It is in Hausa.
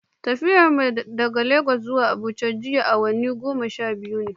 Tafiyar mu daga Lagos zuwa Abuja jiya awanni goma sha biyu ne.